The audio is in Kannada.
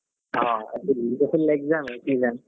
ಹೋ ಈಗ full exam ಯೇ season .